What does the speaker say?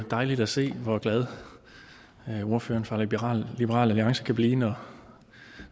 jo dejligt at se hvor glad ordføreren for liberal liberal alliance kan blive når